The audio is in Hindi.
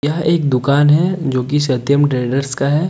यह एक दुकान है जो कि सत्यम ट्रेडर्स का है।